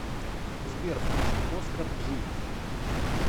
сбер включи оскар джи